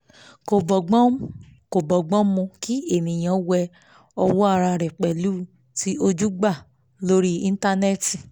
kò bọ́gbọ́n kò bọ́gbọ́n mu kí ènìyàn wé owó ara rẹ̀ pẹ̀lú ti ojúgbà lórí íńtánẹ́tì